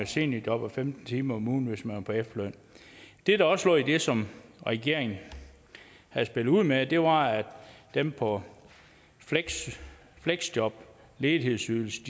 seniorjob og femten timer om ugen hvis man var på efterløn det der også lå i det som regeringen havde spillet ud med var at dem på fleksjob ledighedsydelse